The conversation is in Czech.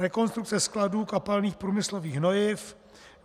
rekonstrukce skladů kapalných průmyslových hnojiv;